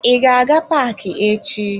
I ga-aga paaki echi?